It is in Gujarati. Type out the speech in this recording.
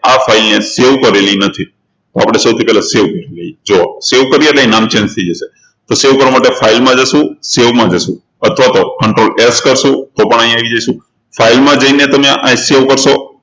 આ file ને save કરેલી નથી એટલે સૌથી પહેલા આપણે save કરી લઈએ જુઓ save કરીએ એટલે નામ change થઇ જશે તો save કરવા માટે file માં જશું save માં જશું અથવા તો controlF કરશું તો પણ અહિયાં આવી જશું file માં જઈને તમે save આ કરશો